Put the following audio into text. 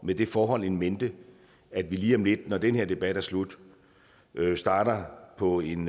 med det forhold in mente at vi lige om lidt når den her debat er slut starter på en